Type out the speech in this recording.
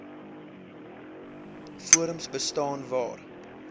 forums bestaan waar